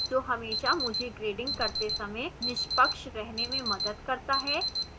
जो हमेशा मुझे grading करते समय निष्पक्ष रहने में मदद करता है